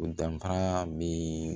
O danfara be